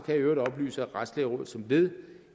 jeg i øvrigt oplyse at retslægerådet som led